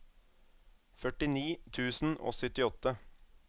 førtini tusen og syttiåtte